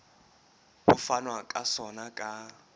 ho fanwa ka sona ka